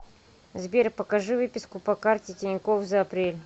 сбер покажи выписку по карте тинькофф за апрель